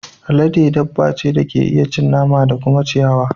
Alade dabba ce da ke iya cin nama da kuma ciyayi.